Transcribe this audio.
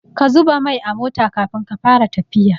Ka zuba mai a mota Kafin ka Fara tafiya